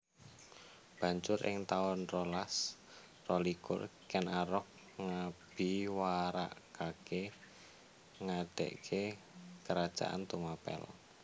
Banjur ing taun rolas rolikur Ken Arok ngabiwarakaké ngadegé Kerajaan Tumapel